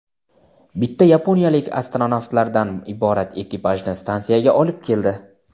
bitta yaponiyalik astronavtlardan iborat ekipajni stantsiyaga olib keldi.